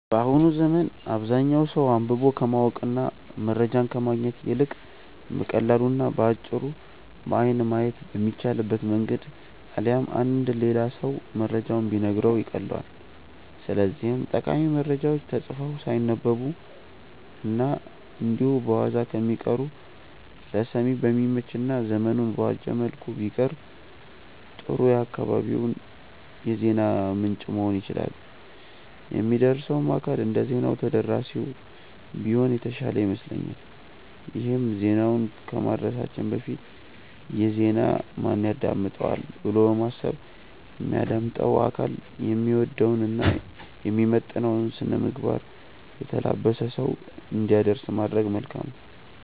በአሁኑ ዘመን አብዛኛው ሰው አንብቦ ከማወቅ እና መረጃን ከማግኘት ይልቅ በቀላሉ እና በአጭሩ በአይን ማየት በሚቻልበት መንገድ አሊያም አንድ ሌላ ሰው መረጃውን ቢነግረው ይቀልለዋል። ስለዚህም ጠቃሚ መረጃዎች ተጽፈው ሳይነበቡ እና እንዲሁ በዋዛ ከሚቀሩ ለሰሚ በሚመች እና ዘመኑን በዋጀ መልኩ ቢቀርቡ ጥሩ የአካባቢው የዜና ምንጭ መሆን ይችላሉ። የሚያደርሰውም አካል እንደዜና ተደራሲው ቢሆን የተሻለ ይመስለኛል ይሄም ዜናውን ከማድረሳችን በፊት "ይህን ዜና ማን ያዳምጠዋል?'' ብሎ በማሰብ የሚያዳምጠው አካል የሚወደውን እና የሚመጥነውን ስነምግባር የተላበሰ ሰው እንዲያደርስ ማድረግ መልካም ነው።